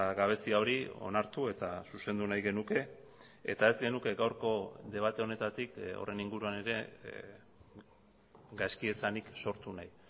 gabezia hori onartu eta zuzendu nahi genuke eta ez genuke gaurko debate honetatik horren inguruan ere gaizkiesanik sortu nahi